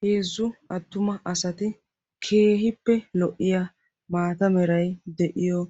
heezzu attuma asati keehippe lo''iya maata meray de'iyo